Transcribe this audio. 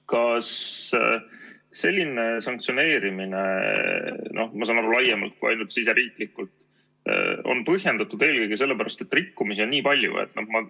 Kas selline sanktsioneerimine, ma saan aru, et laiemalt kui ainult siseriiklikult, on põhjendatud eelkõige sellepärast, et rikkumisi on nii palju?